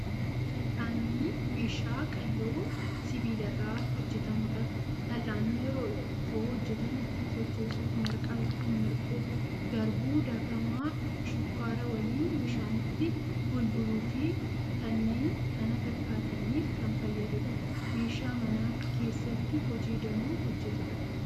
Fal'aanni meeshaa qalloo sibiila irraa hojjetamudha. Fal'aanni yeroo ittoo hojjetan ittiin sochoosuuf, marqaa ittiin marquuf, garbuu daakamaa shukkaara waliin bishaanitti bulbuluu fi kanneen kana fakkaataniif kan fayyadudha. Meeshaa mana keessatti hojii danuu hojjetudha.